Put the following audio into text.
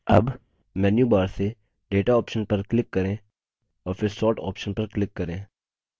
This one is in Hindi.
अब हम मेन्यूबार से data option पर click करें और फिर sort option पर click करें